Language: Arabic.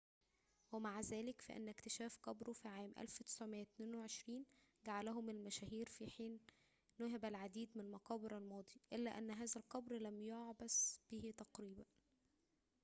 ومع ذلك فإن اكتشاف قبره في عام 1922 جعله من المشاهير في حين نُهب العديد من مقابر الماضي إلا أن هذا القبر لم يُعبث به تقريباً